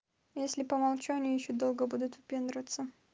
если помолчали ещё долго будут выпендриваться